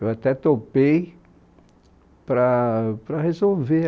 Eu até topei para para resolver.